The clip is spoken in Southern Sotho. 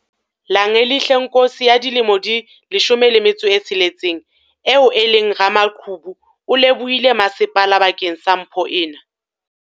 Langelihle Nkosi, 16, eo e leng ramaqhubu o lebohile masepala bakeng sa mpho ena.